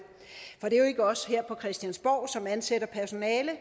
for det er jo ikke os her på christiansborg som ansætter personale